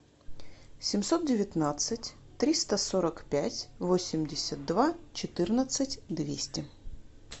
семьсот девятнадцать триста сорок пять восемьдесят два четырнадцать двести